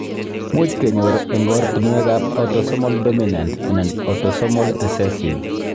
Much kenyor eng' oratinwekab autosomal dominant anan autosomal recessive